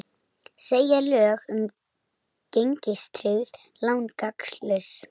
Segja lög um gengistryggð lán gagnslaus